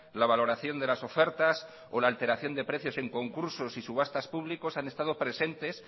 la valoración de las ofertas o la alteración de precios en concursos y subastas públicos han estado presentes